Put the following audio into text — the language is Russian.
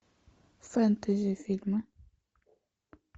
фентези фильмы